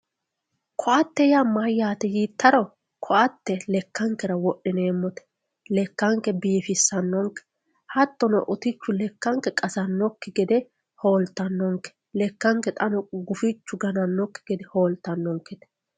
koatte yaa mayyaate yiittaro koatte yaa lakkankera wodhineemmote lekkanke biifissannonke hattono lekkanke utichu qasannonkekki gede hooltannonke lekkanke xaano gufichu ganannonkekki gede hooltannonke.